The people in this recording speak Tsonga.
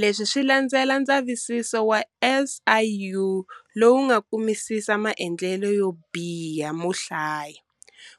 Leswi swi landzela ndzavisiso wa SIU lowu nga kumisisa maendlelo yobiha mohlaya,